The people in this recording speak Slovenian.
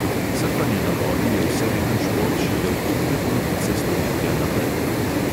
Srfanje na vodi je vseleten šport šele od druge polovice stoletja naprej.